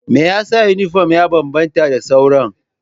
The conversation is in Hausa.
Me yasa yunifom ya bambanta da sauran?